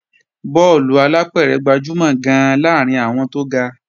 Bọ́ọ̀lù alápẹ̀rẹ̀ gbajúmọ̀ gan-an láàrín àwọn tó ga